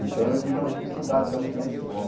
Então eu tive uma dificuldade também na escola.